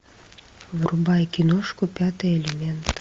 врубай киношку пятый элемент